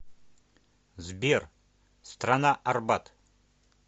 сбер страна арбат